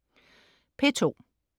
P2: